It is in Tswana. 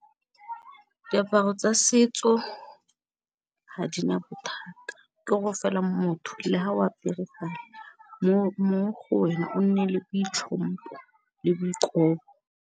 Diaparo tsa setso ha di na bothata, ke gore fela motho le ha o a mo go wena o nne le boitlhompho le boikobo.